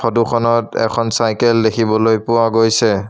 Photo খনত এখন cycle দেখিবলৈ পোৱা গৈছে।